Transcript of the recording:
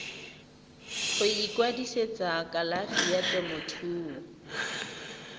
go ikwadisetsa kalafi ya temothuo